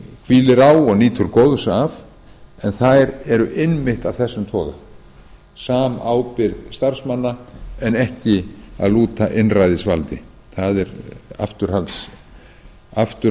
hvílir á og nýtur góðs af en þær eru einmitt af þessum toga samábyrgð starfsmanna en ekki að lúta einræðisvaldi það er afturhaldshugsun sem á ekki að eiga